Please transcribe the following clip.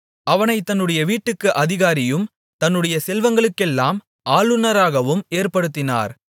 அவனைத் தன்னுடைய வீட்டுக்கு அதிகாரியும் தன்னுடைய செல்வங்களுக்கெல்லாம் ஆளுனராகவும் ஏற்படுத்தினார்